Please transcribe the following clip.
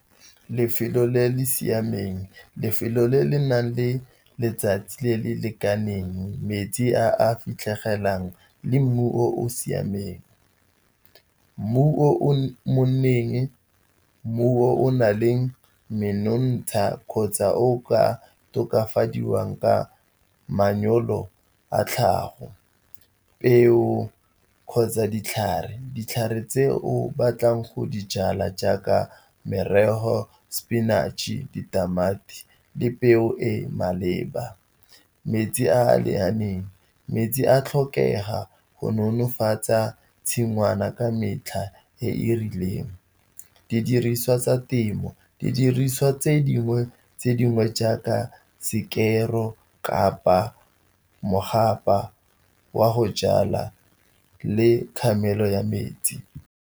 Lefelo le le siameng, lefelo le le nang le letsatsi le le lekaneng, metsi a fitlhelegelang le mmu o o siameng. Mmu o monneng, mmu o na le menontsha, kgotsa o ka tokafadiwang ka manyoro a tlhago, peo kgotsa ditlhare. Ditlhare tse o batlang go dijala jaaka merogo, sepinatšhe, ditamati le peo e maleba. Metsi a a lekaneng, metsi a tlhokega go nonofatsa tshingwana ka metlha e e rileng. Didiriswa tsa temo, didiriswa tse dingwe tse dingwe jaaka sekero kapa mogapa wa go jalwa le kgamelo ya metsi.